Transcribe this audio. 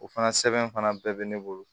O fana sɛbɛn fana bɛɛ bɛ ne bolo